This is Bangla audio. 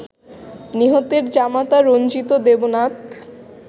নিহতের জামাতা রঞ্জিত দেবনাথ